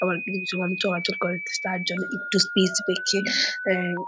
আবার কিছু কিছু মানুষের আজব কোয়ালিটি আম--